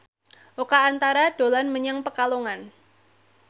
Oka Antara dolan menyang Pekalongan